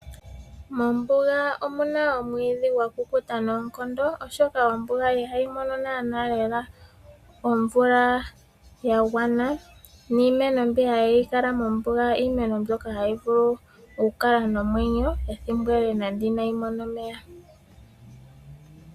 Mombuga omuna omwiidhi gakukuta noonkondo , oshoka omvula ihayi mono naanaa lela omvula yagwana niimeno mbi hayi kalamo mombuga, iimeno mbyoka hayi kala mombuga ethimbo ele nande inayi mona omeya.